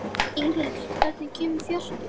Inghildur, hvenær kemur fjarkinn?